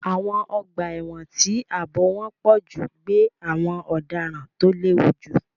Àwọn ọgbà ẹ̀wọ̀n tí ààbò wọn pọ̀ jù gbé àwọn ọ̀daràn tó léwu jù.